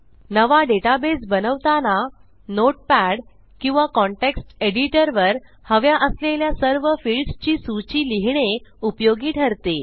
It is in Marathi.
नवा डेटाबेस बनवताना नोटपॅड किंवा कॉन्टेक्स्ट एडिटर वर हव्या असलेल्या सर्व फील्ड्स ची सूची लिहिणे उपयोगी ठरते